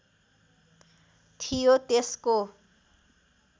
थियो त्यसको